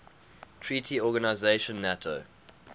treaty organization nato